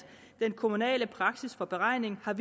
den kommunale praksis for beregningen af